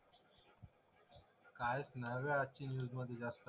काहीच नाही बघ आजची न्यूजमध्ये जास्त.